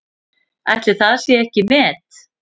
Ætli það sé ekki met?